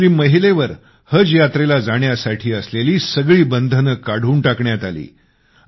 मुस्लिम महिलेवर हजऱ्यात्रेला जाण्यासाठी असलेले हे बंधने काढून टाकण्यात आले